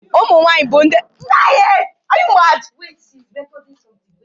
Ụmụ nwaanyị bụ ndị na-éwú obodo